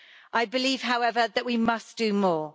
I believe, however, that we must do more.